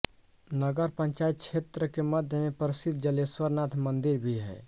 नगर पंचायत क्षेत्र के मध्य में प्रसिद्ध जलेश्वर नाथ मंदिर भी है